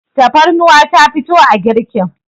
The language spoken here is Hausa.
tafarnuwa ta fito a girkin